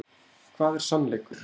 Hvað er sannleikur?